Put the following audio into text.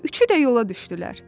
Üçü də yola düşdülər.